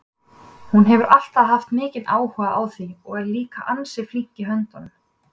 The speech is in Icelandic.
Hún hefur alltaf haft mikinn áhuga á því og er líka ansi flink í höndunum.